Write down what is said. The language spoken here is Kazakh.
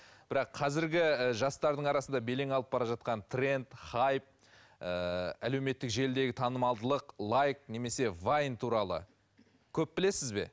бірақ қазіргі ііі жастардың арасында белең алып бара жатқан тренд хайп ііі әлеуметтік желідегі танымалдылық лайк немесе вайн туралы көп білесіз бе